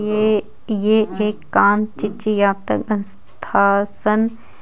ये ये एक कान चीची स्थाशन--